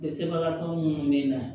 Sɛbɛbagatɔ minnu bɛ na